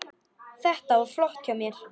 Þetta var flott hjá mér.